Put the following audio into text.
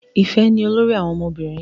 Ifẹ ni olórí àwọn ọmọbìnrin.